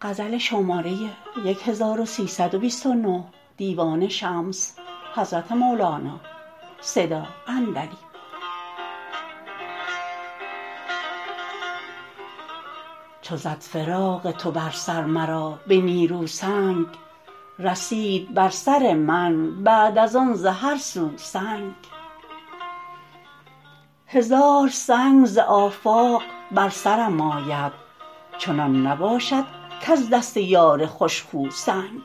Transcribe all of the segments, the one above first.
چو زد فراق تو بر سر مرا به نیرو سنگ رسید بر سر من بعد از آن ز هر سو سنگ هزار سنگ ز آفاق بر سرم آید چنان نباشد کز دست یار خوش خو سنگ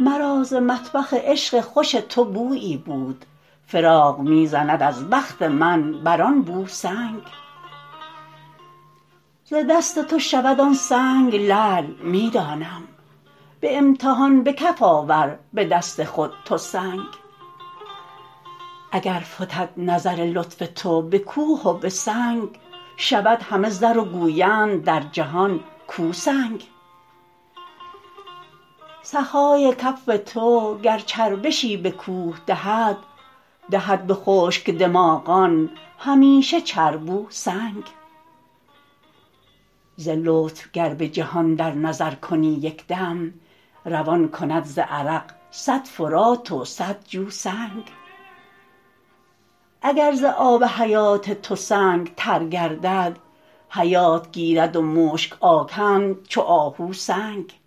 مرا ز مطبخ عشق خوش تو بویی بود فراق می زند از بخت من بر آن بو سنگ ز دست تو شود آن سنگ لعل می دانم به امتحان به کف آور به دست خود تو سنگ اگر فتد نظر لطف تو به کوه و به سنگ شود همه زر و گویند در جهان کو سنگ سخای کف تو گر چربشی به کوه دهد دهد به خشک دماغان همیشه چربوسنگ ز لطف گر به جهان در نظر کنی یک دم روان کند ز عرق صد فرات و صد جو سنگ اگر ز آب حیات تو سنگ تر گردد حیات گیرد و مشک آکند چو آهو سنگ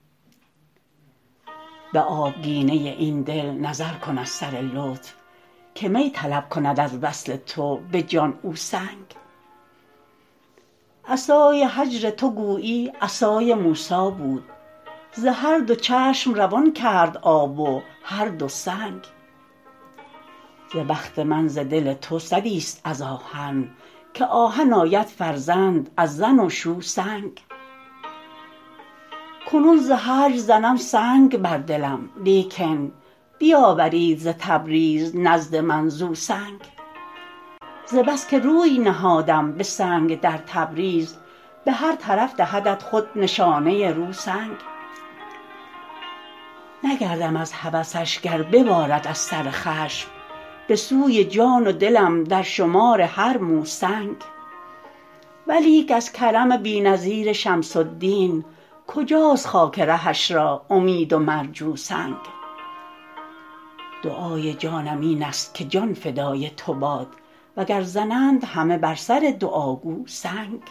به آبگینه این دل نظر کن از سر لطف که می طلب کند از وصل تو به جان او سنگ عصای هجر تو گویی عصای موسی بود ز هر دو چشم روان کرد آب و هر دو سنگ ز بخت من ز دل تو سدیست از آهن که آهن آید فرزند از زن و شو سنگ کنون ز هجر زنم سنگ بر دلم لیکن بیاورید ز تبریز نزد من زو سنگ ز بس که روی نهادم به سنگ در تبریز به هر طرف دهدت خود نشانه رو سنگ نگردم از هوسش گر ببارد از سر خشم به سوی جان و دلم درشمار هر مو سنگ ولیک از کرم بی نظیر شمس الدین کجاست خاک رهش را امید و مرجو سنگ دعای جانم اینست که جان فدای تو باد وگر زنند همه بر سر دعاگو سنگ